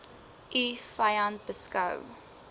u vyand beskou